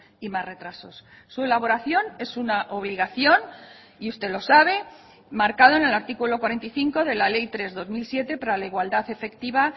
y más retrasos su elaboración es una obligación y usted lo sabe marcado en el artículo cuarenta y cinco de la ley tres barra dos mil siete para la igualdad efectiva